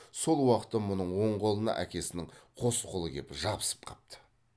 сол уақытта мұның оң қолына әкесінің қос қолы кеп жабысып қапты